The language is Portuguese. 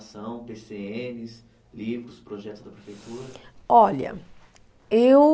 Pê cê enes, livros, projetos da prefeitura? Olha, eu